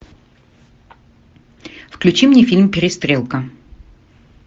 включи мне фильм перестрелка